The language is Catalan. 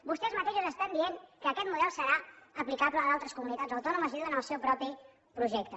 vostès mateixos estan dient que aquest model serà aplicable a d’altres comunitats autònomes i ho diuen en el seu propi projecte